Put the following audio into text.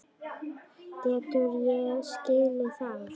Geturðu ekki skilið það?